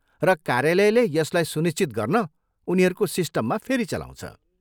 र कार्यालयले यसलाई सुनिश्चित गर्न उनीहरूको सिस्टममा फेरि चलाउँछ।